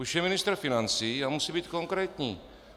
Už je ministr financí a musí být konkrétní.